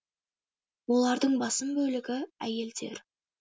олардың басым бөлігі әйелдер